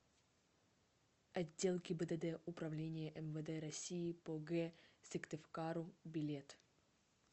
отдел гибдд управления мвд россии по г сыктывкару билет